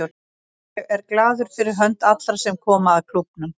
Ég er glaður fyrir hönd allra sem koma að klúbbnum.